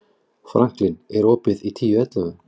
Franklín, er opið í Tíu ellefu?